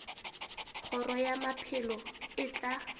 kgoro ya maphelo e tla